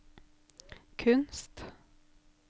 kunst